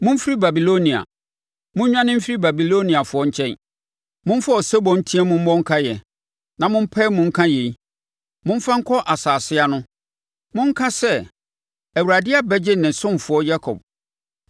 Momfiri Babilonia, monnwane mfiri Babiloniafoɔ nkyɛn! Momfa osebɔ nteam mmɔ nkaeɛ na mo mpae mu nka yei. Momfa nkɔ nsase ano; monka sɛ, “ Awurade abɛgye ne ɔsomfoɔ Yakob.”